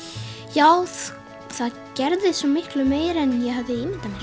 já það gerðist svo miklu meira en ég gat ímyndað mér